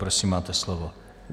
Prosím, máte slovo.